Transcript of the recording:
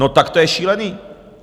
No tak to je šílený!